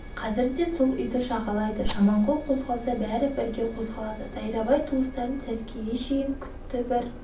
қазір де сол үйді жағалайды жаманқұл қозғалса бәрі бірге қозғалады дайрабай туыстарын сәскеге шейін күтті бір